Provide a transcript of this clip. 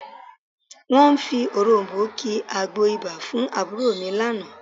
Wọ́n fi òròm̀bó ki àgbo ibà fún àbúrò mi lánàá